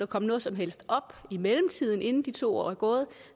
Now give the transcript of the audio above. komme noget som helst op i mellemtiden inden de to år er gået